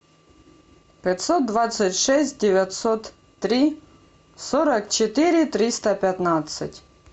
пятьсот двадцать шесть девятьсот три сорок четыре триста пятнадцать